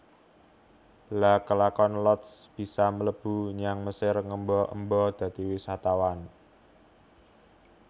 Lha kelakon Lotz bisa mlebu nyang Mesir ngemba emba dadi wisatawan